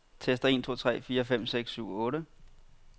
Tester en to tre fire fem seks syv otte.